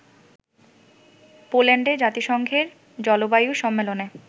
পোল্যান্ডে জাতিসংঘের জলবায়ু সম্মেলনে